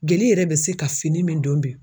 Jeli yɛrɛ bɛ se ka fini min don bi.